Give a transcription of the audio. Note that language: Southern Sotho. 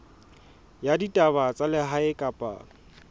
ya ditaba tsa lehae kapa